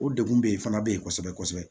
O degun be yen fana be yen kosɛbɛ kosɛbɛ